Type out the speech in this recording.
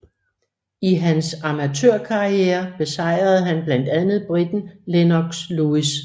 I hans amatørkarriere besejrede han blandt andet briteren Lennox Lewis